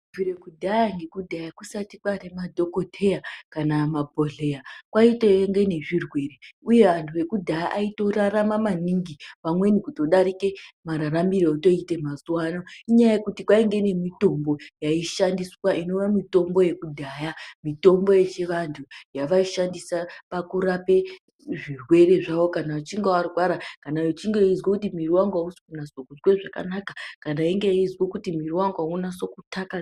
Kubvira kudhaya nekudhaya kusati kwaane madhokodheya kana mabhohleya kwaitenge nezvirwere uye vantu vekudhaya aitorarama maningi pamweni kutodarike mararamiro etoite mazuwa ano inyaya yekuti kwainge nemitombo yaishandiswa inova mitombo yekudhaya mitombo yechivantu, yavaishandisa pakurapa zvirwere zvawo kana veinge varwara, kana vechinge veizwe kuti mwiri wangu ausi kunase kuzwe zvakanaka, kana veinge vachizwe kuti mwiri wangu auzi kunyatso takazika.